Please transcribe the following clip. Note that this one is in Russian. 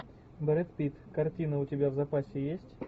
брэд питт картина у тебя в запасе есть